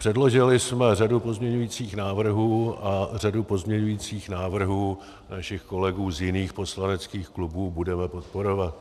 Předložili jsme řadu pozměňujících návrhů a řadu pozměňujících návrhů našich kolegů z jiných poslaneckých klubů budeme podporovat.